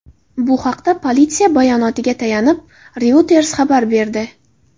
Bu haqda politsiya bayonotiga tayanib, Reuters xabar berdi .